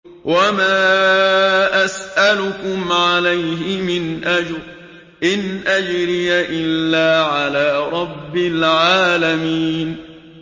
وَمَا أَسْأَلُكُمْ عَلَيْهِ مِنْ أَجْرٍ ۖ إِنْ أَجْرِيَ إِلَّا عَلَىٰ رَبِّ الْعَالَمِينَ